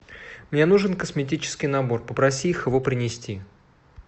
мне нужен косметический набор попроси их его принести